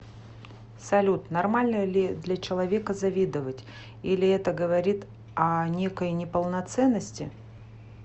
салют нормально ли для человека завидовать или это говорит о некой неполноценности